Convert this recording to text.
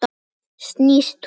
Snýst hún?